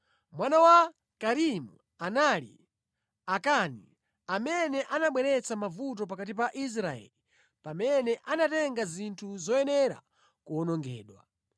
Mwana wa Karimi anali Akani, amene anabweretsa mavuto pakati pa Israeli pamene anatenga zinthu zoyenera kuwonongedwa.